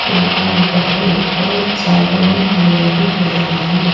लगा हुआ है और सारे में हरियाली हो रही है।